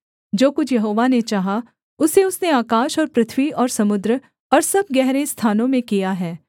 जो कुछ यहोवा ने चाहा उसे उसने आकाश और पृथ्वी और समुद्र और सब गहरे स्थानों में किया है